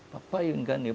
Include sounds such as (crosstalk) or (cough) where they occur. O papai (unintelligible)